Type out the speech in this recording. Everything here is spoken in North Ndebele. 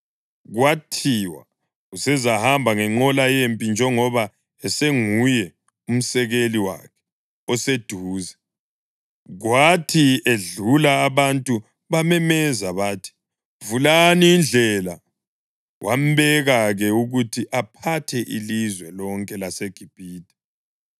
Kwathiwa usezahamba ngenqola yempi njengoba esenguye umsekeli wakhe oseduze, kwathi edlula abantu bamemeza bathi, “Vulani indlela!” Wambeka-ke ukuthi aphathe ilizwe lonke laseGibhithe.